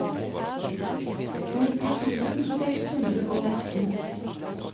nitti tusen seks hundre og atten